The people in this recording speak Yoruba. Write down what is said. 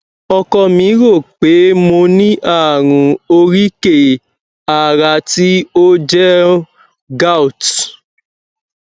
ọkọ mi rò pé mo ní ààrùn oríkèé ara tí ó jẹ ń gout